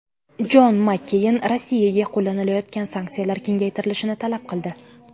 Jon Makkeyn Rossiyaga qo‘llanilayotgan sanksiyalar kengaytirilishini talab qildi.